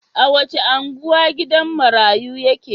A wace unguwa gidan marayu yake?